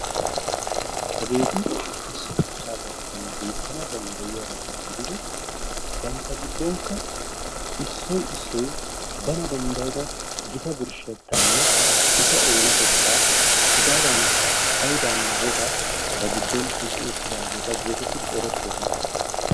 Hageeti issi shuchchaa garssan beettana dandaayaabata gididi bantta giddonkka issoy issoy bana danddayda gita birshettaanne eta oonatettaa hegaadaanikka hayidaanne wogaa ba giddon oyqqi uttidaageeta geetetidi erettoosona.